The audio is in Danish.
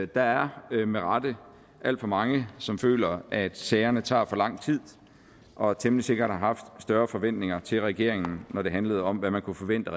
der er med rette alt for mange som føler at sagerne tager for lang tid og temmelig sikkert har haft større forventninger til regeringen når det handlede om hvad man kunne forvente